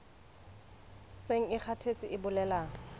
seng e kgathetse e bolela